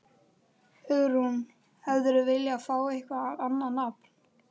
Hugrún: Hefðirðu viljað fá eitthvað annað nafn?